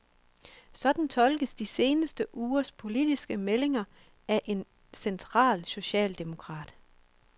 Sådan tolkes de seneste ugers politiske meldinger af en central socialdemokrat.